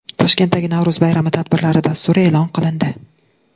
Toshkentdagi Navro‘z bayrami tadbirlari dasturi e’lon qilindi.